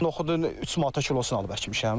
Noxudun 3 manata kilosu alıb əkmişəm qardaş.